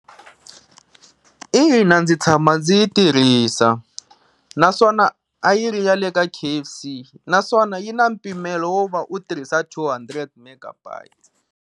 Ina ndzi tshama ndzi yi tirhisa, naswona a yi ri ya le ka K_F_C naswona yi na mpimelo wo va u tirhisa two hundred megabytes.